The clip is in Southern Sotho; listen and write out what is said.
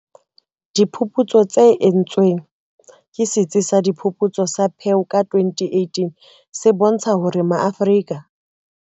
Diphuputso tse entsweng ke Setsi sa Diphuputso sa Pew ka 2018 se bontsha hore MaAfrika.